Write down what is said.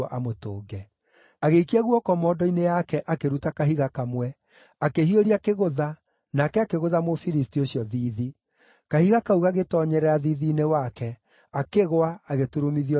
Agĩikia guoko mondo-inĩ yake akĩruta kahiga kamwe, akĩhiũria kĩgũtha, nake akĩgũtha Mũfilisti ũcio thiithi. Kahiga kau gagĩtoonyerera thiithi-inĩ wake, akĩgũa, agĩturumithia ũthiũ wake thĩ.